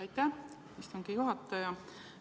Aitäh, istungi juhataja!